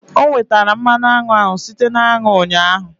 O nwetara mmanụ aṅụ ahụ site na aṅụ ụnyaahụ.